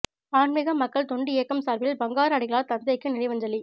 ஆன்மிக மக்கள் தொண்டு இயக்கம் சார்பில் பங்காரு அடிகளார் தந்தைக்கு நினைவஞ்சலி